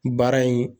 Baara in